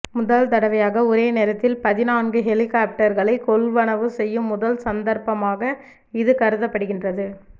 முதல் தடவையாக ஒரே நேரத்தில் பதினான்கு ஹெலிகொப்டர்களை கொள்வனவு செய்யும் முதல் சந்தர்ப்பமாக இது கருதப்படுகின்றது